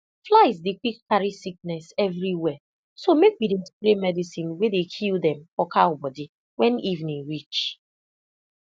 flies dey quick carry sickness everywhere so make we dey spray medicine wey dey kill them for cow body when evening reach